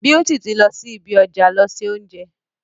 Beauty ti lọ sí ibi ọjà lọ se oúnjẹ.